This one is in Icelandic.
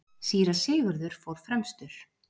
Síra Sigurður fór fremstur.